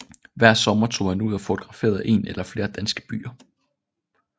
Hver sommer tog han ud og fotograferede en eller flere danske byer